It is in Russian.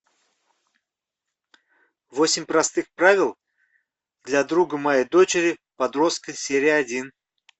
восемь простых правил для друга моей дочери подростка серия один